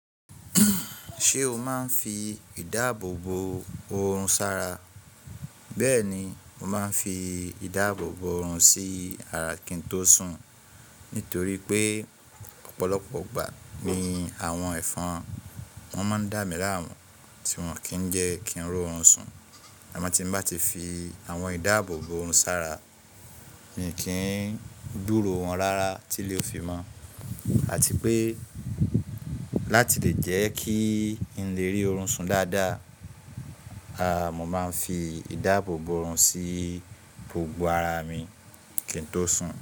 Ṣé o máa ń fi ìdáàbò bo oorun sára? Bẹ́ẹ̀ni, mo máa ń fi ìdáàbò bo oorun sí ara kí n tó sùn. Nítorí pé ọ̀pọ̀lọpọ̀ ìgbà ní àwọn ẹ̀fọn, wọ́n máa ń dá mì la mu, tí wọn kì n jẹ kí n ro oorun sùn. Àmọ́ tí n bá ti fi àwọn ìdáàbò bo oorun sára, mì kí ń gburo wọn rárá tí lè o fi mọ̀, àti pé láti lè jẹ́ kí n lè rí orun sùn dáda, mo máa ń fi ìdábò bo oorun sí gbogbo ara mi kín tó sùn.